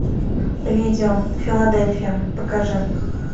видео филадельфия покажи